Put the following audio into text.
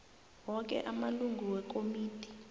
woke amalungu wekomidi